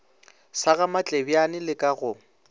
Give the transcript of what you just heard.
sa gamatlebjane le ka go